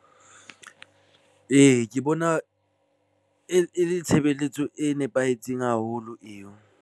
Ee, ke bona e le tshebeletso e nepahetseng haholo eo.